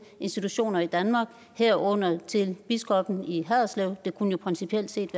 institutioner i danmark herunder til biskoppen i haderslev det kunne jo principielt set